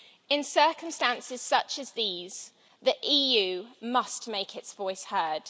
In circumstances such as these, the EU must make its voice heard.